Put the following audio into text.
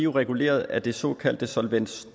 reguleret af den såkaldte solvens